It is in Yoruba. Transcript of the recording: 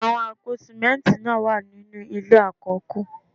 Àwọn àpò símẹ́ntì náà wà ní inú ilé àkọ́kù